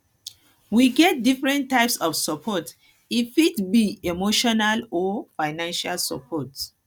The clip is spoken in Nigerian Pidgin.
we get different types of support e fit be emotional or financial support